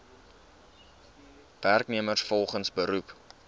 werknemers volgens beroep